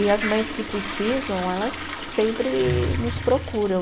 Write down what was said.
E as mães que precisam, elas sempre nos procuram.